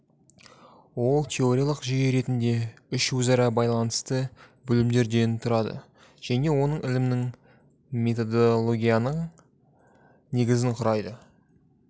ол теориялық жүйе ретінде үш өзара байланысты бөлімдерден тұрады және оның ілімінің методологиялық негізін құрайды